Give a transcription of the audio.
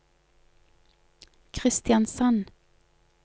Kristiansand